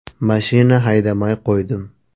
Mashina haydamay qo‘ydim.